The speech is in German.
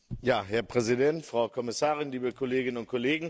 Herr Präsident, Frau Kommissarin, liebe Kolleginnen und Kollegen!